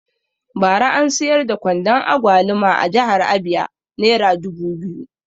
Bara an siyar da kwandon agwaluma a jihar abia nera ɗari biyu